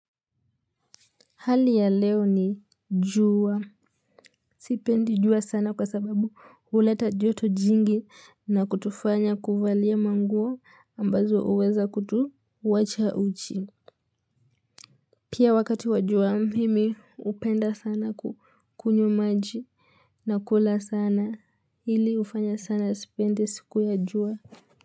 Hali ya leo ni jua. Sipendi jua sana kwa sababu huleta joto jingi na kutufanya kuvalia manguo ambazo uweza kutuwacha uchi. Pia wakati wa jua mimi upenda sana kukunywa maji na kula sana ili hufanya sana sipendi siku ya juwa.